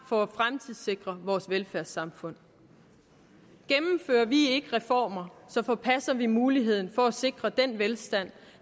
for at fremtidssikre vores velfærdssamfund gennemfører vi ikke reformer forpasser vi muligheden for at sikre den velstand